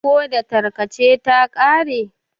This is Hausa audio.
ko datarka ce ta kare?